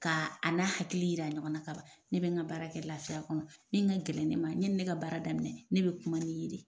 Ka a n'a hakili yira ɲɔgɔn na ka ban ne bɛ n ka baara kɛ lafiya kɔnɔ min ka gɛlɛn ne ma yani ne ka baara daminɛ ne bɛ kuma n'i ye de.